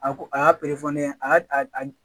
A ko a y'a a y'a